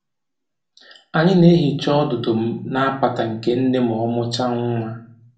Anyị na-ehicha ọdụdụ na apata nke nne ma ọ mụchaa nwa